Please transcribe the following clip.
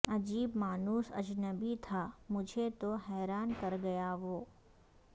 عجیب مانوس اجنبی تھا مجھے تو حیران کر گیا وہ